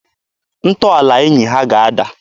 Ntọala enyi ha ga-ada.